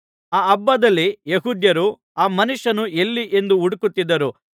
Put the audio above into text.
ಆ ಹಬ್ಬದಲ್ಲಿ ಯೆಹೂದ್ಯರು ಆ ಮನುಷ್ಯನು ಎಲ್ಲಿ ಎಂದು ಹುಡುಕುತ್ತಿದ್ದರು